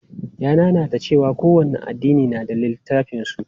Ya nanata cewa kowane addini na da littafan su.